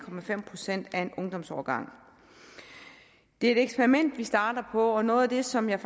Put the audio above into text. procent af en ungdomsårgang det er et eksperiment vi starter på og noget af det som jeg